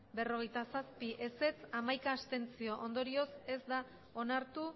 berrogeita zazpi zuri bi abstentzioak hamaika ondorioz ez da onartu